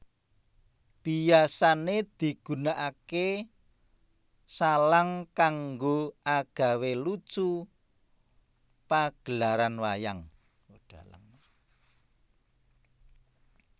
Biasané digunakaké shalang kanggo agawé lucu pagelaran wayang